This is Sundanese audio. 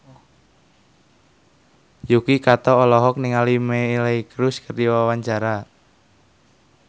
Yuki Kato olohok ningali Miley Cyrus keur diwawancara